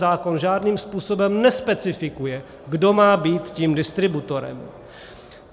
Zákon žádným způsobem nespecifikuje, kdo má být tím distributorem.